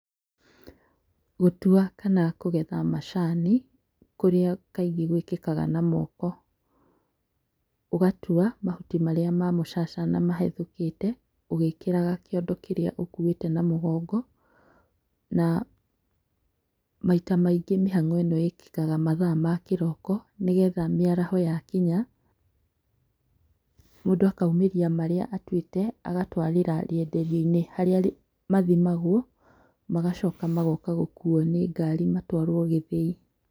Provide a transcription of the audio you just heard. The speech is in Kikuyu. Gũtua kana kũgetha macani kũrĩa kaingĩ gwĩkĩkaga na moko. ũgatua mahuti marĩa ma mũcacana mahethũkĩte ũgĩkĩraga kĩondo kĩrĩa ũkuĩte na mũgongo. Na maita maingĩ mĩhang'o ĩno ĩkĩkaga mathaa makĩroko nĩgetha mĩaraho yakinya mũndũ akaumĩria marĩa atuĩte, agatwarĩra rĩendererio-inĩ harĩa mathimagwo magacoka magoka gũkuo nĩ ngari magatũarwo gĩthĩi.